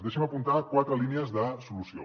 deixi’m apuntar quatre línies de solució